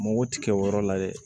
Mugu ti kɛ o yɔrɔ la dɛ